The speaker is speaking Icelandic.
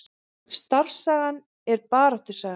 Starfssagan er baráttusaga